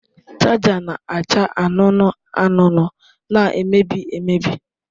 Chaja na-acha anụnụ anụnụ na-emebi emebi.